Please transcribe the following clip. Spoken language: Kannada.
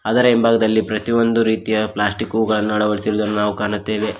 ಅದರ ಹಿಂಭಾಗದಲ್ಲಿ ಪ್ರತಿಯೊಂದು ರೀತಿಯ ಪ್ಲಾಸ್ಟಿಕುಗಳನ್ನ ಅಳವಡಿಸಿರುವುದನು ನಾವು ಕಾಣುತ್ತೇವೆ.